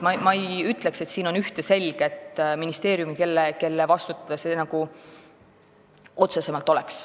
Ma ei ütleks, et see kindlalt ühe ministeeriumi vastutusala on.